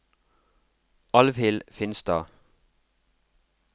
Alvhild Finstad